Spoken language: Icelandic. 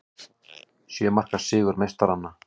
Sjö marka sigur meistaranna